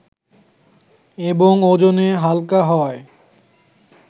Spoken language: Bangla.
এবং ওজনে হালকা হওয়ায়